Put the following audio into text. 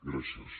gràcies